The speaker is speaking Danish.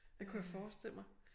Det kunne jeg forestille mig